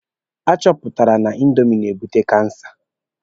A chọpụtala na indomi na-ebute kansa.